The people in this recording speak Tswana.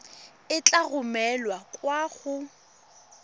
e tla romelwa kwa go